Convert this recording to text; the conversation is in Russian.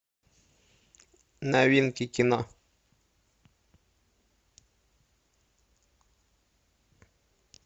новинки кино